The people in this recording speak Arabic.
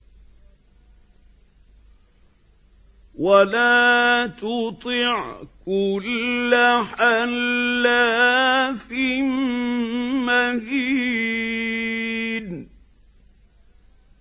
وَلَا تُطِعْ كُلَّ حَلَّافٍ مَّهِينٍ